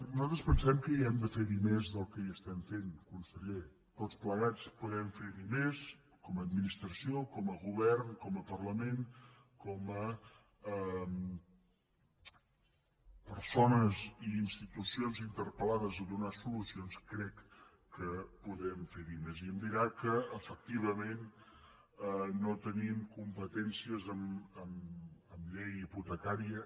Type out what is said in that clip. nosaltres pensem que hi hem de fer més del que fem conseller tots plegats podem fer hi més com a administració com a govern com a parlament com a persones i institucions interpelons crec que podem fer hi més i em dirà que efectivament no tenim competències en llei hipotecària